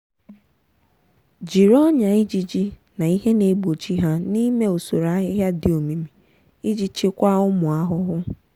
jiri ọnyà ijiji na ihe na-egbochi ha n'ime usoro ahịhịa dị omimi iji chịkwaa ụmụ ahụhụ.